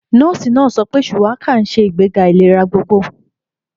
Nọ́ọ̀sì náà sọ pé Shuwaka ń ṣe ìgbéga ìlera gbogbogbò.